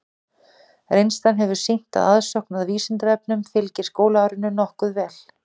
Reynslan hefur sýnt að aðsókn að Vísindavefnum fylgir skólaárinu nokkuð vel.